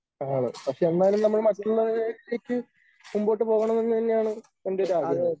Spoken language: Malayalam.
ആണ്. പക്ഷേ എന്നാലും നമ്മൾ മറ്റുള്ളവരിലേക്ക് മുമ്പോട്ട് പോകണമെന്ന് തന്നെയാണ് എൻറെ ഒരു ആഗ്രഹം.